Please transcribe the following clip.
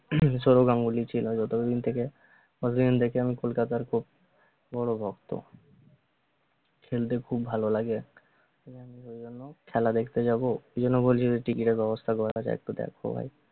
সৌরভ গাঙ্গুলি ছিলো যত দিন থেকে ততো দিন থেকে আমি কলকাতার খুব বড় ভক্ত খেলতে খুব ভালো লাগে খেলা দেখতে যাবো এইজন্যে বলি ticket এর ব্যবস্থা করা যায় নাকি একটু দেখ তো ভাই